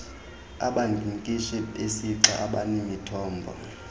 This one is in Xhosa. abankinkishi besixa abanemithombo